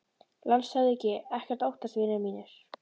LANDSHÖFÐINGI: Ekkert að óttast, vinir mínir.